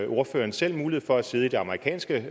ordføreren selv mulighed for at sidde i det amerikanske